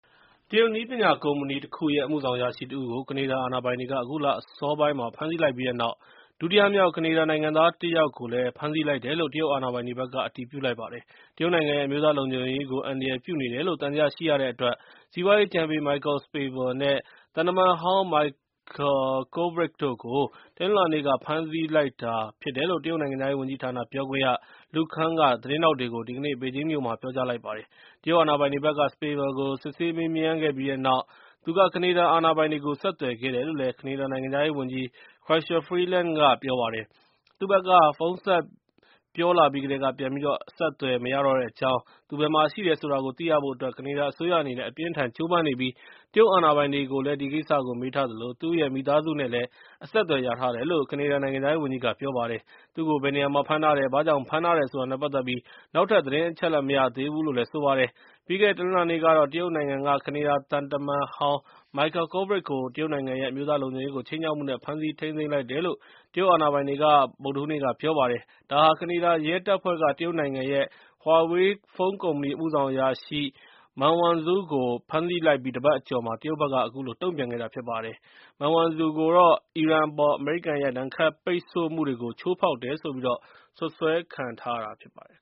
တရုတ်နည်းပညာကုမ္ပဏီတခုရဲ့အမှုဆောင်အရာရှိတဦးကို ကနေဒါအာဏာပိုင်တွေက အခုလအစောပိုင်းမှာ ဖမ်းဆီးလိုက်ပြီးတဲ့နာက် ဒုတိယမြောက် ကနေဒါနိုင်ငံသားတစ်ယောက်ကို ဖမ်းဆီးလိုက်တယ်လို့ တရုတ်အာဏာပိုင်တွေဘက်က အတည်ပြုလိုက်ပါတယ်။ တရုတ်နိုင်ငံရဲ့ အမျိုးသားလုံခြုံရေးကို အန္တရာယ်ပြုနေတယ်လို့ သံသယရှိရတဲ့အတွက် စီးပွားရေးအကြံပေး Michael Spavor နဲ့ သံတမန်ဟောင်း Michael Kovrig တို့ကို တနင်္လာနေ့က ဖမ်းဆီးလိုက်တယ်လို့ တရုတ်နိုင်ငံခြားရေးဝန်ကြီးဌာန ပြောခွင့်ရ Lu Kang က သတင်းထောက်တွေကို ဒီကနေ့ ဘေဂျင်းမြို့မှာ ပြောကြားလိုက်ပါတယ်။ တရုတ်အာဏာပိုင်တွေဘက်က Spavor ကို စစ်ဆေးမေးမြန်း ခဲ့ပြီးတဲ့နောက်မ သူက ကနေဒါအာဏာပိုင်တွေကို ဆက်သွယ်ခဲ့တယ်လို့ ကနေဒါနိုင်ငံခြားရေးဝန်ကြီး Chrystia Freeland က ပြောပါတယ်။သူဘက်က ဖုန်းဆက်ပြောလာပြီးကတည်းက ပြန်ပြီးတော့ ဆက်သွယ်လို့မရသေးပါဘူး။ “သူဘယ်မှာရှိတယ်ဆိုတာကို သိရဖို့အတွက် ကနေဒါအစိုးရအနေနဲ့ အပြင်းအထန်ကြိုးပမ်းနေပြီး ၊ တရုတ်အာဏာပိုင်တွေကိုလည်း ဒီကိစ္စကိုမေးထားသလို၊ သူ့ရဲ့ မိသားစုနဲ့လည်း အဆက်သွယ်ရထားတယ်လို့ ကနေဒါနိုင်ငံခြားရေးဝန်ကြီး Ms. Freeland က ပြောပါတယ်။ သူကို ဘယ်နေရာမှာ ဖမ်းထားတယ်၊ ဘာကြောင့်ဖမ်းထားတယ်ဆိုတာနဲ့ ပတ်သက်ပြီး နောက်ထပ်သတင်းအချက်အလက် မရသေးပါဘူး။ ပြီးခဲ့တဲ့ တနင်္လာနေ့ ကတော့ တရုတ်နိုင်ငံက ကနေဒါသံတမန်ဟောင်း Michael Kovrig ကို တရုတ်နိုင်ငံရဲ့ အမျိုးသားလုံခြုံရေးကို ခြိမ်းခြောက်မှု နဲ့ ဖမ်းဆီး ထိန်းသိမ်းလိုက်တယ်လို့ တရုတ်အာဏာပိုင်တွေက ဗုဒ္ဓဟူးနေ့က ပြောပါတယ်။ ဒါဟာ ကနေဒါရဲတပ်ဖွဲ့က တရုတ်နိုင်ငံရဲ့ Huawei ဖုန်းကုမ္ပဏီအမှုဆောင်အရာရှိ Meng Wanzhou ကို ဖမ်းဆီးလိုက်ပြီး တပတ်အကျော်မှာ တရုတ်ဘက်က အခုလို တုံ့ပြန်ခဲ့တာ ဖြစ်ပါတယ်။ Meng Wanzhou ကိုတော့ အီရန်အပေါ် အမေရိကန်ရဲ့ ဒဏ်ခတ်ပိတ်ဆို့မှုတွေကို ချိုးဖောက်တယ်ဆိုပြီး စွပ်စွဲခံနေထားဖြစ်ပါတယ်